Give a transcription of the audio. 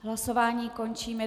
Hlasování končím.